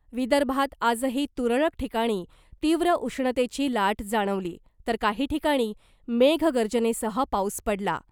विदर्भात आजही तुरळक ठिकाणी तीव्र उष्णतेची लाट जाणवली , तर काही ठिकाणी मेघगर्जनेसह पाऊस पडला .